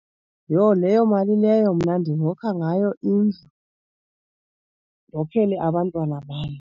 Yho, leyo mali leyo mna ndingokha ngayo indlu. Ndokhele abantwana bam.